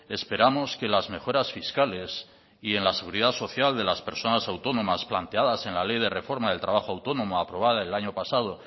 esperamos que las mejoras fiscales y en la seguridad social de las personas autónomas planteadas en la ley de reforma de trabajo autónomo aprobada el año pasado